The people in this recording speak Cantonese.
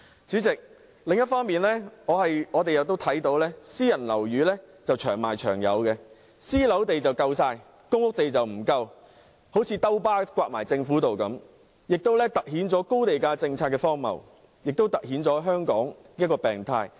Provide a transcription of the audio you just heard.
主席，另一方面，我們看到私人樓宇"長賣長有"，興建私人樓宇的土地非常充足，興建公屋的土地卻不足，好像一巴掌打在政府的臉上，亦凸顯了高地價政策何等荒謬及香港的病態。